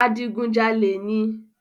Adigunjalè ni.